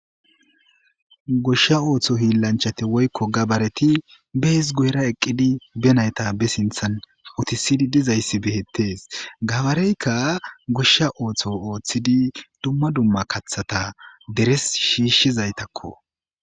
Goshsha ooththo hiillanchate woykko gabareti bees guyra eqqidi benayta be sinthan utisidi dizayssi behettees gabareykka goshsha ooththo ooththidi dumma dumma kathata deres shiishshizaytakko.